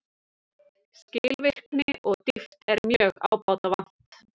Skilvirkni og dýpt er mjög ábótavant